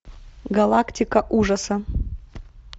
галактика ужаса